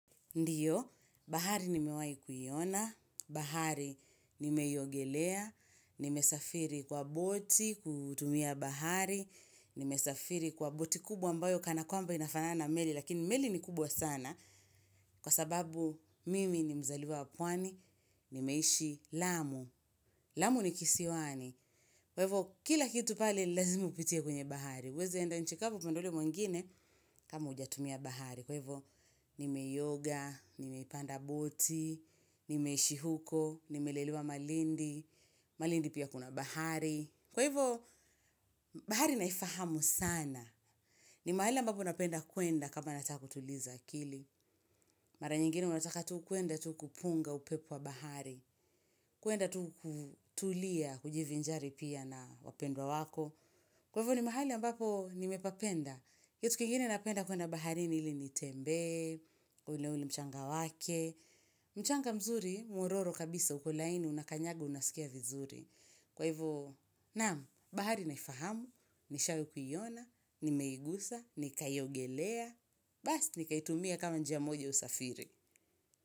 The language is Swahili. Ndiyo, bahari nimewai kuiona, bahari nimeiongelea, nimesafiri kwa boti, kutumia bahari, nimesafiri kwa boti kubwa ambayo kana kwamba inafanana meli, lakini meli ni kubwa sana, kwa sababu mimi ni mzaliwa wa pwani, nimeishi lamu, lamu ni kisiwani. Kwa hivo, kila kitu pale lazima upitie kwenye bahari. Huezi enda nchi kavu tunaenda ule mwingine kama hujatumia bahari. Kwa hivyo, nimeioga, nimeipanda boti, nimeishi huko, nimelelewa malindi, malindi pia kuna bahari. Kwa hivyo, bahari naifahamu sana. Ni mahali ambapo napenda kwenda kama nataka kutuliza akili. Mara nyingine huwa nataka tu kuenda tu kupunga upepua bahari. Kuenda tu kutulia kujivinjari pia na wapendwa wako. Kwa ivo ni mahali ambapo nimepapenda. Kitu kikine napenda kuenda baharini ili nitembe, ule ule mchanga wake. Mchanga mzuri, mwororo kabisa uko laini unakanyaga unasikia vizuri. Kwa ivo naam bahari naifahamu nishai kuiona nimeigusa nkaiogelea baas nikaitumia kama njia moja ya usafiri.